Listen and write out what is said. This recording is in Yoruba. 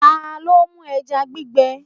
Ta ló mú ẹja gbígbẹ?